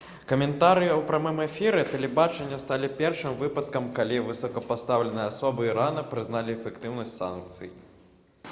каментарыі ў прамым эфіры тэлебачання сталі першым выпадкам калі высокапастаўленыя асобы ірана прызналі эфектыўнасць санкцый